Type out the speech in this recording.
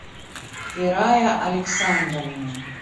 ферая александровна